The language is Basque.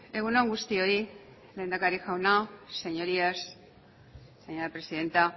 egun on guztioi lehendakari jauna señorías señora presidenta